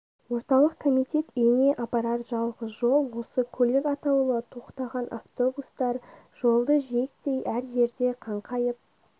орталық комитет үйіне апарар жалғыз жол осы көлік атаулы тоқтаған автобустар жолды жиектей әр жерде қаңқайып